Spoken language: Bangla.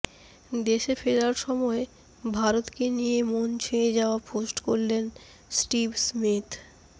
দেশে ফেরার সময় ভারতকে নিয়ে মন ছুঁয়ে যাওয়া পোস্ট করলেন স্টিভ স্মিথ